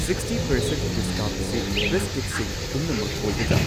Sixty percent discount ꯑꯁꯤ ꯕꯤꯁꯀꯤꯠꯁꯤꯡ ꯄꯨꯝꯅꯃꯛ ꯑꯣꯏꯒꯗ꯭ꯔꯥ?